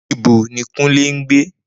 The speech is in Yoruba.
Nibo ni Kunle ngbe?